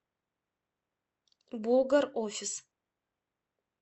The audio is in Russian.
булгар офис